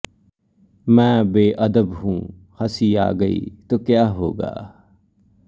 ਮੈਂ ਬੇ ਅਦਬ ਹੂੰ ਹੰਸੀ ਆ ਗਈ ਤੋਂ ਕਿਆ ਹੋਗਾ